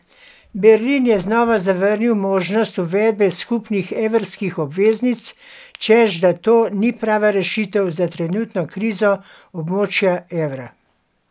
Berlin je znova zavrnil možnost uvedbe skupnih evrskih obveznic, češ da to ni prava rešitev za trenutno krizo območja evra.